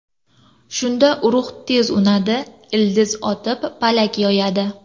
Shunda urug‘ tez unadi, ildiz otib, palak yoyadi.